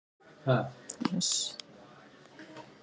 Hvað er ensím?